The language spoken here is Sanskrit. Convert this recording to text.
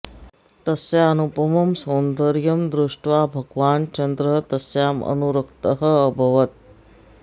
तस्या अनुपमं सौन्दर्यं दृष्ट्वा भगवान् चन्द्रः तस्याम् अनुरक्तः अभवत्